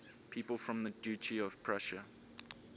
people from the duchy of prussia